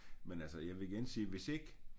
Men altså jeg vil igen sige hvis ikke